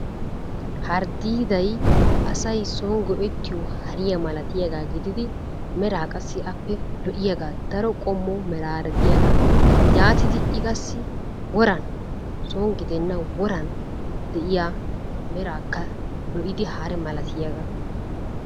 Harddiiday asay son go'ettiyo hariya malatiyagaa gididi meraa qassi lo'iyagaa. Daro qommo meraara diyagaa. Yaatidi I qassi woran son gidenna woran de'iya meraakka lo'idi hare malatiyagaa.